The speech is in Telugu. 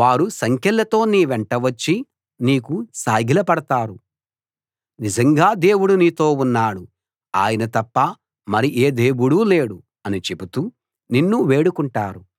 వారు సంకెళ్ళతో నీవెంట వచ్చి నీకు సాగిలపడతారు నిజంగా దేవుడు నీతో ఉన్నాడు ఆయన తప్ప మరి ఏ దేవుడూ లేడు అని చెబుతూ నిన్ను వేడుకుంటారు